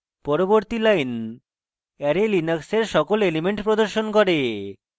পরবর্তী line array linux এর সকল elements প্রদর্শন করে